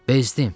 Bezdım.